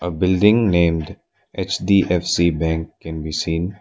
a building named H_D_F_C bank can be seen.